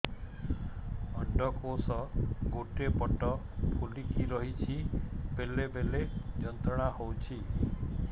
ଅଣ୍ଡକୋଷ ଗୋଟେ ପଟ ଫୁଲିକି ରହଛି ବେଳେ ବେଳେ ଯନ୍ତ୍ରଣା ହେଉଛି